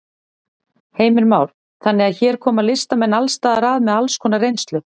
Heimir Már: Þannig að hér koma listamenn alls staðar að með alls konar reynslu?